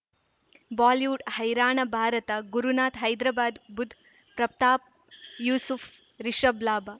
Bollywood ಹೈರಾಣ ಭಾರತ ಗುರುನಾಥ ಹೈದರಾಬಾದ್ ಬುಧ್ ಪ್ರತಾಪ್ ಯೂಸುಫ್ ರಿಷಬ್ ಲಾಭ